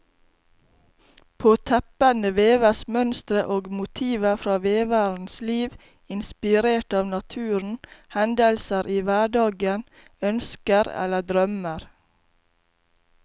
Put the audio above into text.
På teppene veves mønstre og motiver fra veverens liv, inspirert av naturen, hendelser i hverdagen, ønsker eller drømmer.